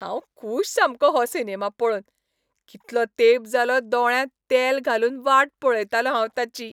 हांव खूश सामकों हो सिनेमा पळोवन! कितलो तेंप जालो दोळ्यांत तेल घालून वाट पळयतालों हांव ताची.